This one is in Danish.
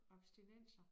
Abstinenser